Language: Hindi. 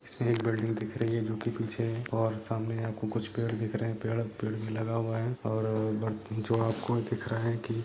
इसमे एक बिल्डिग दिख रही है जोकि पीछे और सामने आपको कुछ पेड़ दिख रहे है पेड़ भी लगा हुआ है और ब जो आपको दिख रहा है की--